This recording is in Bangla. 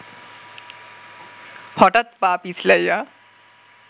হঠাৎ পা পিছলাইয়া